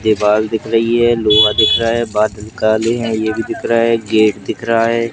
दिख रही है लोहा दिख रहा है बादल काली है ये भी दिख रहा है गेट दिख रहा है।